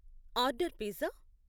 order pizza